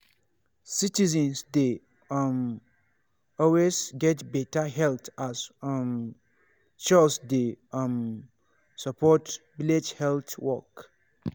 citizens dey um always get better health as um chws dey um support village health work.